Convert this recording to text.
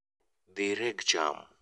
Dhi reg cham